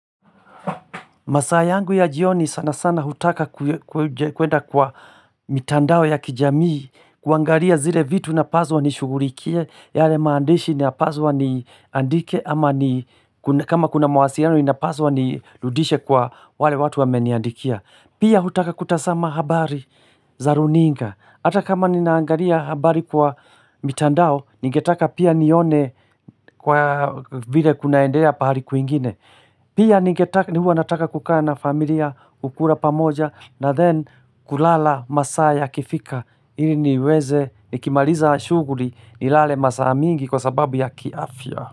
Masaa yangu ya jioni sana sana hutaka kuenda kwa mitandao ya kijamii kuangalia zile vitu napaswa nishugulikie yale maandishi napaswa niandike ama ni kama kuna mawasiliano inapaswa nirudishe kwa wale watu wameniandikia. Pia hutaka kutazama habari za runinga hata kama ninaangalia habari kwa mitandao Ningetaka pia nione kwa vile kunaendea pahali kwingine Pia ni huwa nataka kukaa na familia kukula pamoja na then kulala masaa yakifika ili niweze nikimaliza shughuli nilale masaa mingi kwa sababu ya kiafya.